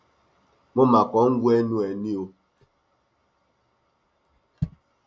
mo mà kàn ń wo ẹnu ẹ ni o